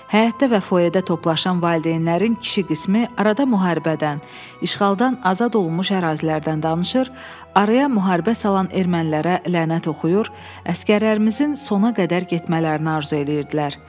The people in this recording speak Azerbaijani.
Həyətdə və foeyədə toplaşan valideynlərin kişi qismi arada müharibədən, işğaldan azad olunmuş ərazilərdən danışır, araya müharibə salan ermənilərə lənət oxuyur, əsgərlərimizin sona qədər getmələrini arzu eləyirdilər.